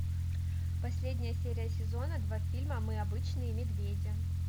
последняя серия сезона два фильма мы обычные медведи